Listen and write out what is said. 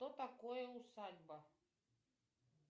что такое усадьба